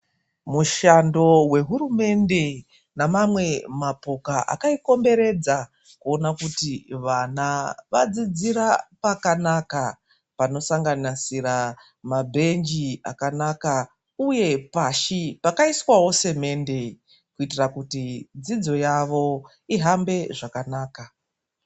Mushando wehurumende nemamwe mapoka akaikomberedza kuona kuti vana vadzidzira pakanaka, panosanganisira mabhenji akanaka uye pashi pakaiswawo semende kuitira kuti dzidzo yavo ihambe zvakanaka .